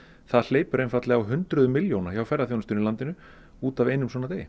það hleypur einfaldlega á hundruðum milljóna hjá ferðaþjónustunni í landinu út af einum svona degi